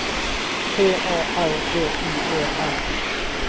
P A R T I E R